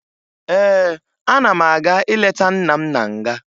Ee, ana m aga ileta nna m na nga